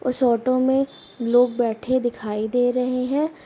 उस ऑटो मे लोग बैठे दिखाई दे रहे हैं |